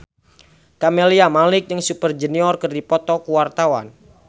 Camelia Malik jeung Super Junior keur dipoto ku wartawan